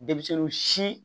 Denmisɛnninw si